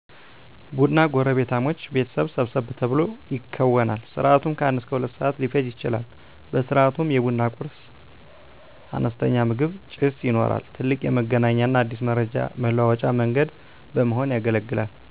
ቡና ጎረቤታሞች ቤተሰብ ሰብሰብ ተብሎ ይከወናል። ስርዓቱም ከአንድ እስከ ሁለት ሰዓት ሊፈጅ ይችላል። በስርዓቱም የቡና ቁርስ(አነስተኛ ምግብ) ፣ ጭስ ይኖራል። ትልቅ የመገናኛና አዲስ መረጃ መለዋወጫ መንገድ በመሆን ያገለግላል።